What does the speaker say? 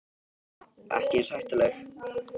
Birta: Ekki eins hættuleg?